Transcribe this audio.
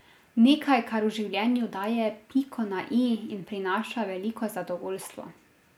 Nekaj, kar v življenju daje piko na i in prinaša veliko zadovoljstvo.